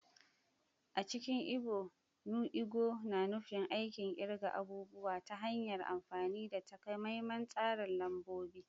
A cikin Ibo, “nu ego” na nufin aikin kirga abubuwa ta hanyar amfani da takamaiman tsarin lambobi.